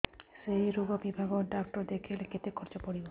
ସେଇ ରୋଗ ବିଭାଗ ଡ଼ାକ୍ତର ଦେଖେଇଲେ କେତେ ଖର୍ଚ୍ଚ ପଡିବ